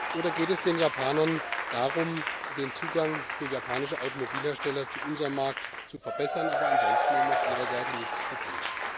Oder geht es ihnen darum, den Zugang für japanische Automobilhersteller zu unserem Markt zu verbessern, aber ansonsten auf ihrer Seite nichts zu tun?